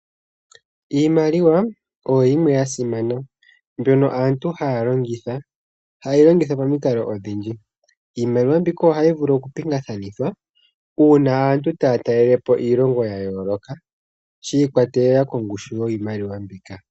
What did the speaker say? Iimaliwa oyo yimwe ya simana mbyono aantu haa longitha, hayi longithwa pamikalo odhindji. Iimaliwa mbika ohayi vulu okupingakanithwa uuna aantu taa talelepo iilongo ya yooloka shi ikwatelela kongushu yiimaliwa mbika.